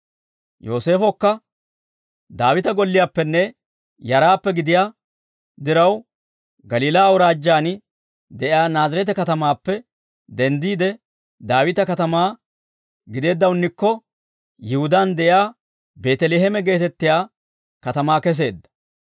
Yooseefokka Daawita golliyaappenne yaraappe gidiyaa diraw Galiilaa Awuraajjaan de'iyaa Naazireete katamaappe denddiide Daawita katamaa gideeddawunnikko Yihudaan de'iyaa Beeteleeme geetettiyaa katamaa keseedda.